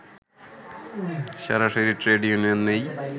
সরাসরি trade union নেই